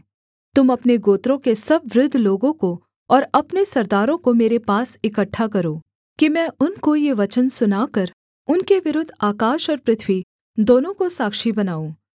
तुम अपने गोत्रों के सब वृद्ध लोगों को और अपने सरदारों को मेरे पास इकट्ठा करो कि मैं उनको ये वचन सुनाकर उनके विरुद्ध आकाश और पृथ्वी दोनों को साक्षी बनाऊँ